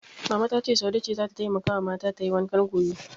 Mama ta ce Saude ce zata taimakawa mata tayi wankan gobe.